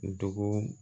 Dugu